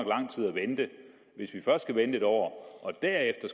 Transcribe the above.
lang tid at vente hvis vi først skal vente et år og derefter